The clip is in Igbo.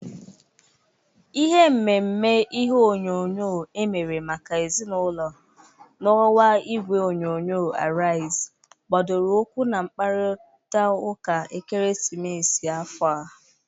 Ihe mmemme ihe onyonyo emere maka ezinaụlọ na ọwa igwe onyonyo Arịaz gbadoro ụkwụ na mkpakọrịtaụka ekeresimesi afọ a..